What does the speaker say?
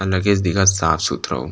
अंदर के इस दिखत साफ- सुथराऊ--